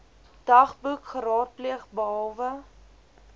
dagboek geraadpleeg behalwe